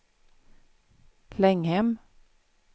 Länghem